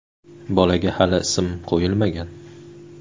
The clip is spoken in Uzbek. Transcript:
Bolaga hali ism qo‘yilmagan.